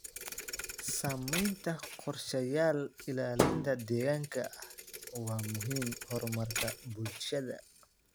Samaynta qorshayaal ilaalinta deegaanka ah waa muhiim horumarka bulshada.